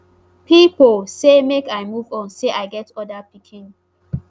pipo say make i move on say i get oda pikin